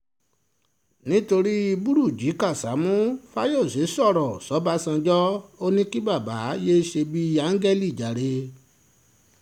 nítorí burújí kásámù fáyọsé sọ̀rọ̀ sọgbàránjọ ò ní kí bàbá yéé ṣe bíi áńgẹ́lì jàre